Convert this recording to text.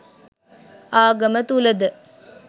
ආගම තුල ද